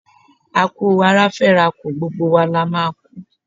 A kú ara fẹ́ rà kù, gbogbo wa la máa a kú.